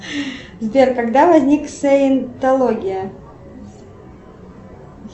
сбер когда возник саентология